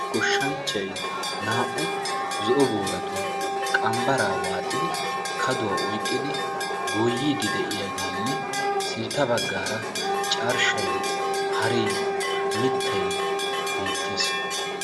Goshshanchchay na'au zo'o booratun qambbaraa waaxidi kaduwaa oyqqidi goyiidi de'iyaagenne sintta baggaara carshshay, haree mittay beettees.